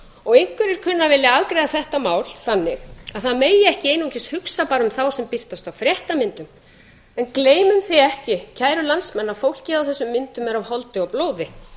og einhverjir kunna að vilja afgreiða þetta mál þannig að það megi ekki einungis hugsa bara um þá sem birtast á fréttamyndum en gleymum því ekki kæru landsmenn að fólkið á þessum myndum er af holdi og blóði